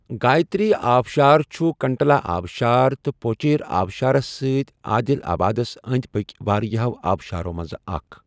گایتری آبشار چھُ کنٹلا آبشار تہٕ پوچیرا آبشارَس سۭتۍ عادل آبادَس أنٛدۍ پٔکھۍ واریٛاہَو آبشارَو منٛز اکھ۔